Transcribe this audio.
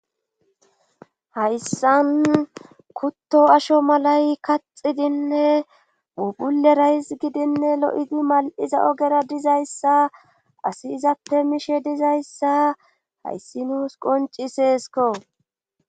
hayssan kutto asho malay kaxidinne pubule rays gidinne lo7idi mal7iza ogera dizayssa asi izappe mishe dizayssa hayssi nuus qonci seesko